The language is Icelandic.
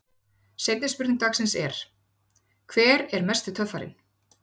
Seinni spurning dagsins er: Hver er mesti töffarinn?